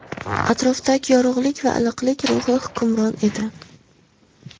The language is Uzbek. Atrofda yorug‘lik va iliqlik ruhi hukmron edi.